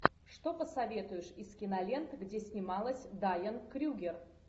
что посоветуешь из кинолент где снималась дайан крюгер